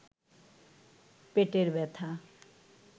পেটের ব্যাথা